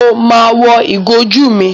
Mo ma wọ ìgò ojú mi.